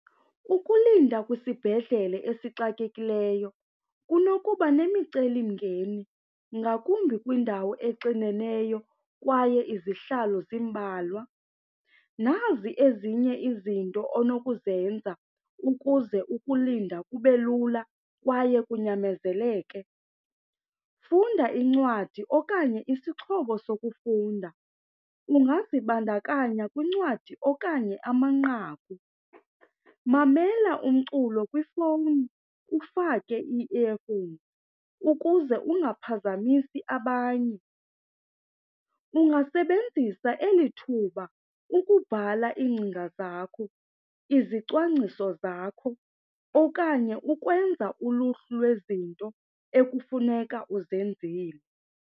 Ukulinda kwisibhedlele esixakekileyo kunokuba nemicelimngeni ngakumbi kwindawo exineneyo kwaye izihlalo zimbalwa. Nazi ezinye izinto onokuzenza ukuze ukulinda kube lula kwaye kunyamezeleke. Funda incwadi okanye isixhobo sokufunda, ungazibandakanya kwincwadi okanye amanqaku. Mamela umculo kwifowuni ufake i-earphones ukuze ungaphazamisi abanye. Ungasebenzisa eli thuba ukubhala iingcinga zakho, izicwangciso zakho okanye ukwenza uluhlu lwezinto ekufuneka uzenzile.